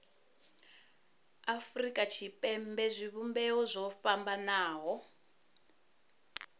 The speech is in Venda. afurika tshipembe zwivhumbeo zwo fhambanaho